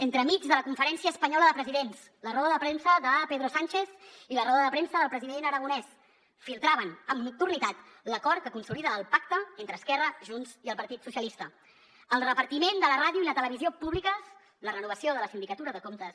entremig de la conferència espanyola de presidents la roda de premsa de pedro sánchez i la roda de premsa del president aragonès es filtrava amb nocturnitat l’acord que consolida el pacte entre esquerra junts i el partit socialistes el repartiment de la ràdio i la televisió públiques la renovació de la sindicatura de comptes